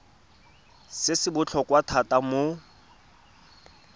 se se botlhokwa thata mo